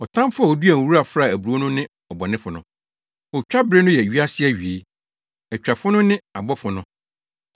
Ɔtamfo a oduaa nwura fraa aburow no ne ɔbɔnefo no. Otwabere no yɛ wiase awiei; atwafo no ne abɔfo no.